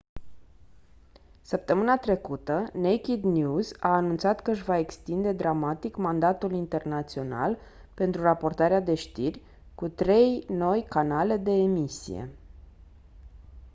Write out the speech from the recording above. săptămâna trecută naked news a anunțat că își va extinde dramatic mandatul internațional pentru raportarea de știri cu trei noi canale de emisie